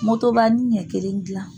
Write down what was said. Motobani ɲɛ kelen dilan